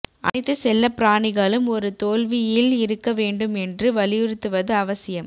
அனைத்து செல்லப்பிராணிகளும் ஒரு தோல்வியில் இருக்க வேண்டும் என்று வலியுறுத்துவது அவசியம்